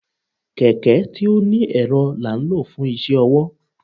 kẹkẹ tí oní erò la n lo fun iṣẹ ọwọ.